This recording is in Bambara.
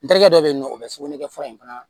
N terikɛ dɔ bɛ yen nɔ o bɛ sugunɛkɛ fura in fana